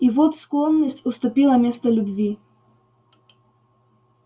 и вот склонность уступила место любви